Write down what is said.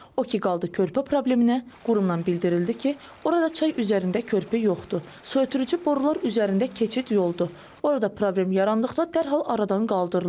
O ki qaldı körpə probleminə, qurumdan bildirildi ki, orada çay üzərində körpü yoxdur, suötürücü borular üzərində keçid yoludur, orada problem yarandıqda dərhal aradan qaldırılır.